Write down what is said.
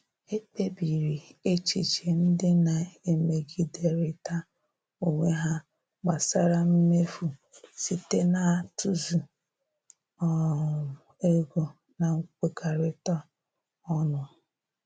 Ekpebiri echiche ndị na-emegiderịta onwe ha gbasara mmefu site n'atụzụ um ego na nkwekọrịta ọnụ.